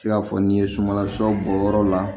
I n'a fɔ n'i ye sumanla sɔ bɔ yɔrɔ la